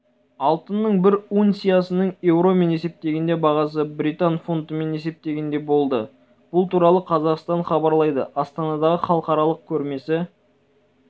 алтынның бір унциясының еуромен есептегендегі бағасы британ фунтымен есептегенде болды бұл туралы қазақстан хабарлайды астанадағы халықаралық көрмесі